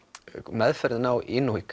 meðferðin á